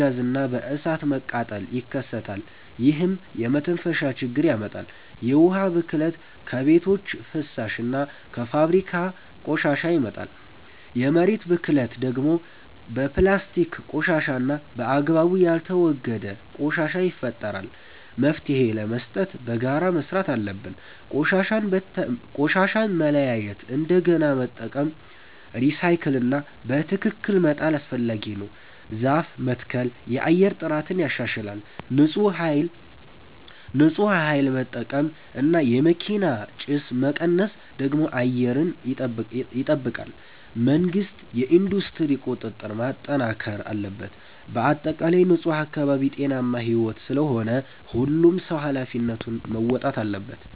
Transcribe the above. ጋዝ እና በእሳት መቃጠል ይከሰታል፣ ይህም የመተንፈሻ ችግር ያመጣል። የውሃ ብክለት ከቤቶች ፍሳሽ እና ከፋብሪካ ቆሻሻ ይመጣል። የመሬት ብክለት ደግሞ በፕላስቲክ ቆሻሻ እና በአግባቡ ያልተወገደ ቆሻሻ ይፈጠራል። መፍትሄ ለመስጠት በጋራ መስራት አለብን። ቆሻሻን መለያየት፣ እንደገና መጠቀም (recycle) እና በትክክል መጣል አስፈላጊ ነው። ዛፍ መትከል የአየር ጥራትን ያሻሽላል። ንፁህ ኃይል መጠቀም እና የመኪና ጭስ መቀነስ ደግሞ አየርን ይጠብቃል። መንግሥት የኢንዱስትሪ ቁጥጥር ማጠናከር አለበት። በአጠቃላይ ንፁህ አካባቢ ጤናማ ሕይወት ስለሆነ ሁሉም ሰው ኃላፊነቱን መወጣት አለበት።